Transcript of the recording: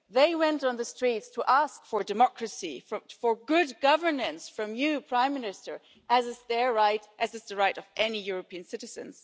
They took to the streets to ask for democracy, for good governance from you, Prime Minister, as is their right, as is the right of any European citizen.